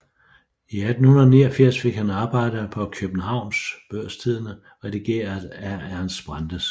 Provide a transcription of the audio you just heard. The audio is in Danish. I 1889 fik han arbejde på Kjøbenhavns Børstidende redigeret af Ernst Brandes